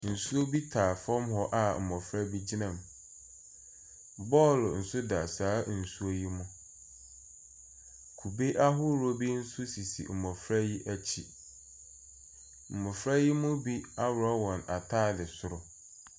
Nsuo bi taa fom hɔ a mmɔfra bi gyina mu bɔɔlo nso da saa nsuo yɛ mu kube ahorow bi nso sisi mmɔfra yɛ akyi mmɔfra yɛ bi aworo wɔn ataadeɛ soro.